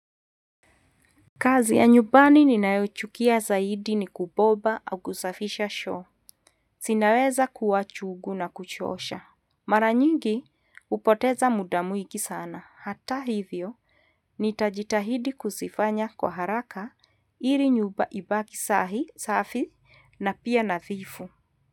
Kazi ya nyumbani ninayoichukia zaidi ni kuboba au kusafisha choo. Zinaweza kuwa chungu na kuchosha. Maranyingi hupoteza muda mwingi sana. Hata hivyo, nitajitahidi kuzifanya kwa haraka ili nyumba ibaki sahi, safi na pia na dhifu.